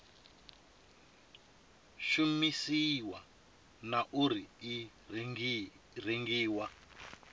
shumisiwa na uri i rengiwa